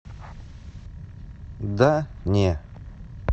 да не